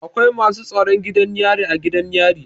Akwai masu tsaron gidan yari a gidan yari.